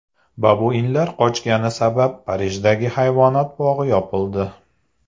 Babuinlar qochgani sabab Parijdagi hayvonot bog‘i yopildi.